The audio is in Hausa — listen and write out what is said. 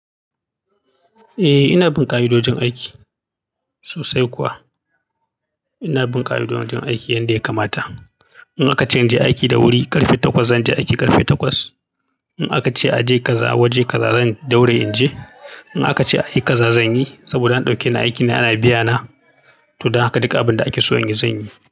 Eh, ina bin ƙa'idojin aiki sosai kuwa. Ina bin ƙa'idojin aiki yadda ya kamata. In aka ce in je aiki da wuri, ƙarfe takwas, zan je aiki ƙarfe takwas. In aka ce a je kaza waje kaza, zan daure in je. In aka ce a yi kaza, zan yi. Saboda an dauke ni aikin ne ana biya na. To, don haka duka abin da ake so in yi, zan yi.